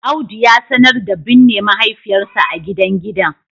Audu ya sanar da binne mahaifiyarsa a gidan gidan